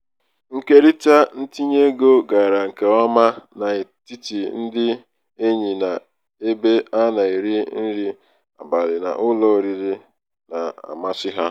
ikerita ntinyeego gara nke ọma n'etiti ndị enyi n'ebe a na-eri nri abalị n'ụlọ oriri na-amasị ha.